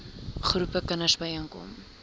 groepe kinders byeenkom